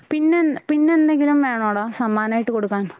പിന്നെ എന്നെ പിന്നെ എന്തെങ്കിലും വേണോടാ സമ്മാനമായിട്ട് കൊടുക്കാൻ